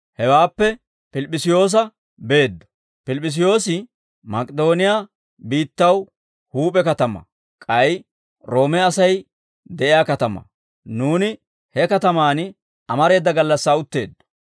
Hewaappe Pilip'p'isiyoosa beeddo; Pilip'p'isiyoosi Mak'idooniyaa biittaw huup'e katamaa; k'ay Roome Asay de'iyaa katamaa; nuuni he katamaan amareeda gallassaa utteeddo.